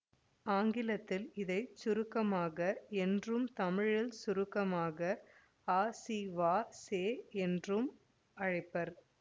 ஆங்கிலத்தில் இதை சுருக்கமாக என்றும் தமிழில் சுருக்கமாக அசிவாசெ என்றும் அழைப்பர்